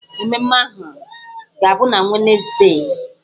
Mmemme ahụ ga-abụ na Wenezdee.